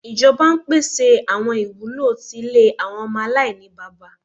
Ijọba n pese awọn iwulo ti ile awọn ọmọ alainibaba